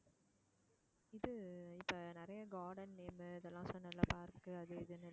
இது இப்போ நிறைய garden name இதெல்லாம் சொன்னல்ல park அது இதுன்னு